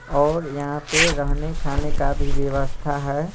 और यहाँ पे रहने खाने का भी व्यवस्था है।